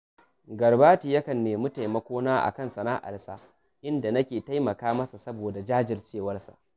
Garbati yakan nemi taimakona a kan sana’arsa, inda nake taimaka masa saboda jajircewarsa